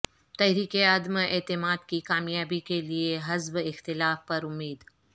تحریک عدم اعتماد کی کامیابی کے لیے حزب اختلاف پر امید